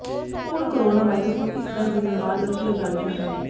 ਹੁਣ corona virus ਨੂੰ ਇਸ ਦਾ ਜ਼ਿੰਮੇਵਾਰ ਦੱਸਿਆ ਜਾ ਰਿਹਾ ਹੈ